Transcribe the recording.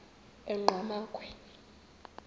enqgamakhwe